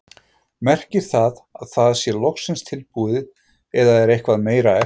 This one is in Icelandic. Merkir það að það sé loksins tilbúið eða er eitthvað meira eftir?